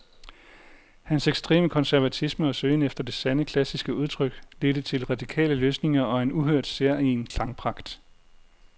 Hans ekstreme konservatisme og søgen efter det sande, klassiske udtryk ledte til radikale løsninger og en uhørt, særegen klangpragt.